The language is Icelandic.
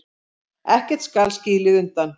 Ekkert skal skilið undan.